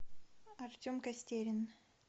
артем костерин